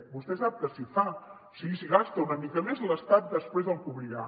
vostè sap que si fa que si gasta una mica més l’estat després el cobrirà